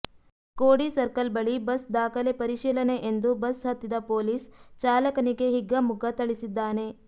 ಕೋಡಿ circle ಬಳಿ bus ದಾಖಲೆ ಪರೀಶಿಲನೆ ಎಂದು ಬಸ್ ಹತ್ತಿದ ಪೊಲೀಸ್ ಚಾಲಕನಿಗೆ ಹಿಗ್ಗಾ ಮುಗ್ಗ ಥಳಿಸಿದ್ದಾನೆ